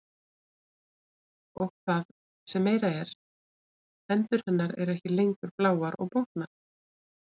Og það sem meira er, hendur hennar eru ekki lengur bláar og bólgnar.